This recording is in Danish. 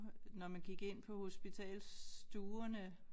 Når man gik ind på hospitalsstuerne